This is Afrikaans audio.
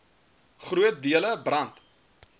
groot dele brand